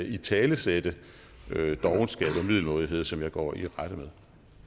italesætte dovenskab og middelmådighed som jeg går i rette med